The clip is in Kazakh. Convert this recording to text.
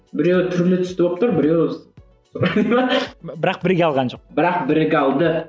біреуі түрлі түсті болып тұр біреуі бірақ біріге алған жоқ бірақ біріге алды